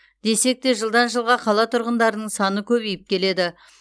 десек те жылдан жылға қала тұрғындарының саны көбейіп келеді